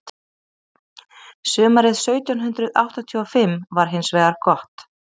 sumarið sautján hundrað áttatíu og fimm var hins vegar gott